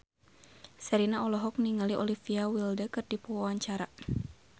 Sherina olohok ningali Olivia Wilde keur diwawancara